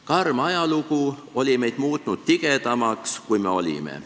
Karm ajalugu oli meid muutnud tigedamaks, kui me olime.